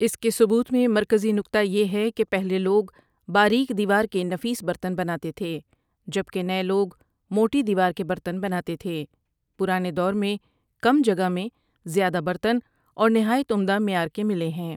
اس کے ثبوت میں مرکزی نکتہ یہ ہے کہ پہلے لوگ باریک دیوار کے نفیس برتن بناتے تھے جب کہ نئے لوگ موٹی دیوار کے برتن بناتے تھے پرانے دور میں کم جگہ میں زیادہ برتن اور نہایت عمدہ معیار کے ملے ہیں ۔